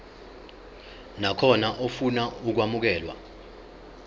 nakhona ofuna ukwamukelwa